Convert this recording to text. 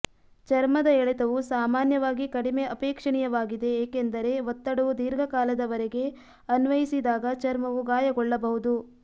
ಚರ್ಮದ ಎಳೆತವು ಸಾಮಾನ್ಯವಾಗಿ ಕಡಿಮೆ ಅಪೇಕ್ಷಣೀಯವಾಗಿದೆ ಏಕೆಂದರೆ ಒತ್ತಡವು ದೀರ್ಘಕಾಲದವರೆಗೆ ಅನ್ವಯಿಸಿದಾಗ ಚರ್ಮವು ಗಾಯಗೊಳ್ಳಬಹುದು